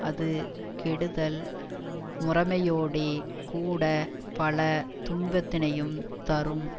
அது கெடுதல் முறைமையோடே கூட பல துன்பத்தினையும் தரும்